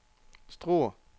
Struer